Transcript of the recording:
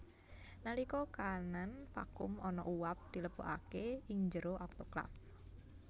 Nalika kaanan vakum ana uap dilebokake ing jero autoklaf